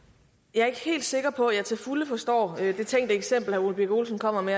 jeg er ikke helt sikker på at jeg til fulde forstår det tænkte eksempel herre ole birk olesen kommer med